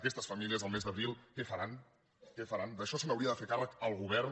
aquestes famílies el mes d’abril què faran què faran d’això se n’hauria de fer càrrec el govern